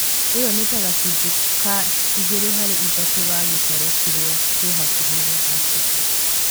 ĩyo nĩ ta gacunjĩ ka igĩrĩ harĩ ithatũ ga gĩtarũ kĩrĩa kĩ hakuhĩ na Afrika